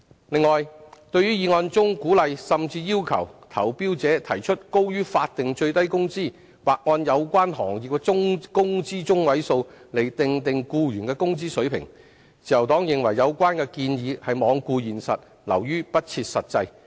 此外，對於議案中鼓勵甚至要求投標者提出高於法定最低工資，或按有關行業的工資中位數訂定僱員的工資水平，自由黨認為有關建議罔顧現實，流於不設實際。